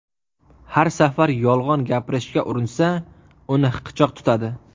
Har safar yolg‘on gapirishga urinsa, uni hiqichoq tutadi.